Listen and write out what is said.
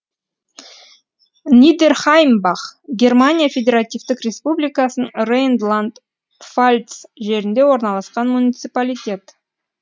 нидерхаймбах германия федеративтік республикасының рейнланд пфальц жерінде орналасқан муниципалитет